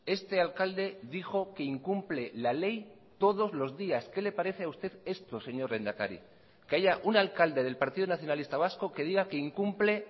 este alcalde dijo que incumple la ley todos los días qué le parece a usted esto señor lehendakari que haya un alcalde del partido nacionalista vasco que diga que incumple